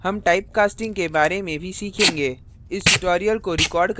हम type casting typecasting के बारे में भी सीखेंगे